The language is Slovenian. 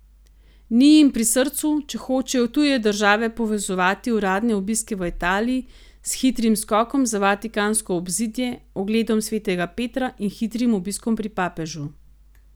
Ni jim pri srcu, če hočejo tuje države povezovati uradne obiske v Italiji s hitrim skokom za vatikansko obzidje, ogledom svetega Petra in hitrim obiskom pri papežu.